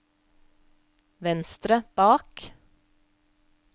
venstre bak